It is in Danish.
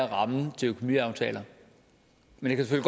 rammen er til økonomiaftaler men det kan